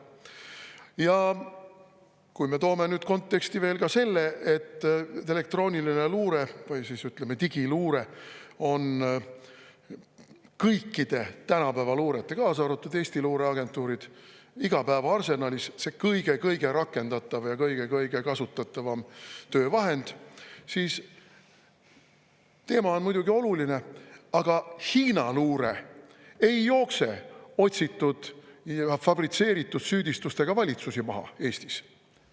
Ja kui me toome nüüd konteksti veel selle, et elektrooniline luure, või ütleme, digiluure on kõikide tänapäeva luurete, kaasa arvatud Eesti luureagentuuride igapäevases arsenalis kõige-kõige rakendatav ja kõige kasutatavam töövahend, siis teema on muidugi oluline, aga Hiina luure ei jookse otsitud ja fabritseeritud süüdistustega valitsusi maha Eestis.